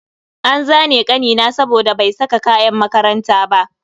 An zane kanina saboda bai saka kayan makaranta ba.